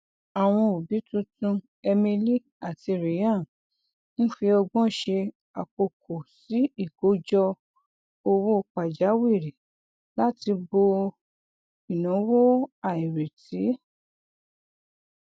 àwọn òbí tuntun emily àti ryan ń fi ọgbọn ṣe àkókò sí ìkójọ owó pajawìrì láti bo ináwó àìrètí